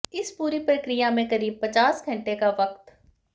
इस पूरी प्रक्रिया में करीब पचास घंटे का वक्त